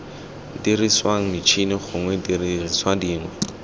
diriswang metšhini gongwe didiriswa dingwe